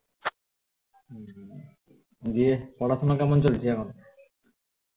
যে পড়াশোনা কেমন চলছে এখন